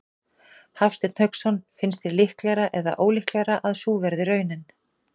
Hafsteinn Hauksson: Finnst þér líklegra eða ólíklegra að sú verði raunin?